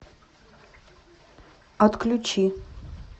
отключи